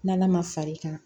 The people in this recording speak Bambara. N'ala ma far'i kan